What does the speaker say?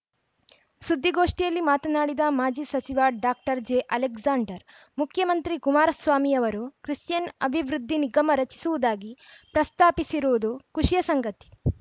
ಸುದ್ದಿಗೋಷ್ಠಿಯಲ್ಲಿ ಮಾತನಾಡಿದ ಮಾಜಿ ಸಚಿವ ಡಾಕ್ಟರ್ ಜೆಅಲೆಕ್ಸಾಂಡರ್‌ ಮುಖ್ಯಮಂತ್ರಿ ಕುಮಾರಸ್ವಾಮಿಯವರು ಕ್ರಿಶ್ಚಿಯನ್‌ ಅಭಿವೃದ್ಧಿ ನಿಗಮ ರಚಿಸುವುದಾಗಿ ಪ್ರಸ್ತಾಪಿಸಿರುವುದು ಖುಷಿಯ ಸಂಗತಿ